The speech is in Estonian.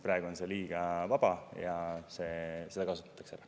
Praegu on see liiga vaba ja seda kasutatakse ära.